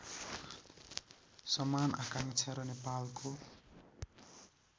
समान आकाङ्क्षा र नेपालको